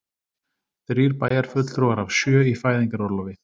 Þrír bæjarfulltrúar af sjö í fæðingarorlofi